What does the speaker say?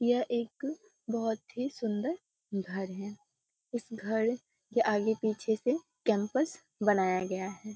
यह एक बहुत ही सुंदर घर है इस घर के आगे पीछे से कैंपस बनाया गया है।